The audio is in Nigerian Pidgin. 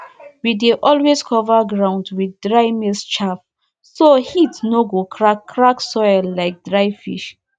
we dey always cover ground with dry maize chaff so heat no go crack crack soil like dry fish